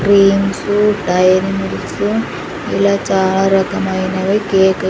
creams dairy milks ఇలా చాలా రకమైనవి కేకు --